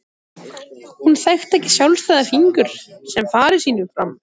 Hún þekkti ekki sjálfstæða fingur sem fara sínu fram.